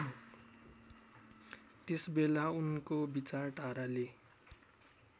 त्यसबेला उनको विचारधाराले